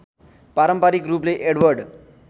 पारम्परिक रूपले एडवर्ड